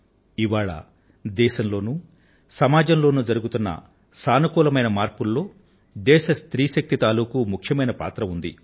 ఇవాళ దేశంలో సమాజంలో చోటు చేసుకొంటున్న సానుకూలమైన మార్పులలో దేశ స్త్రీ శక్తి తాలూకూ ముఖ్యంమైన పాత్ర ఉంది